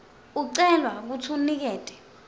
ucelwa kutsi unikete